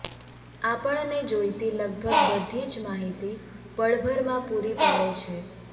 આપણને જોઇતી લગભગ બધી જ માહિતી પળભરમાં પૂરી પાડે છે